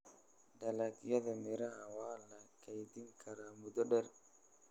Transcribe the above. Dalagyada miraha waa la kaydin karaa muddo dheer.